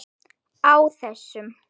Á þessum